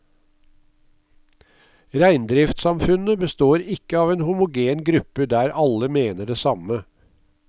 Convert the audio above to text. Reindriftssamfunnet består ikke av en homogen gruppe der alle mener det samme.